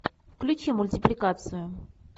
включи мультипликацию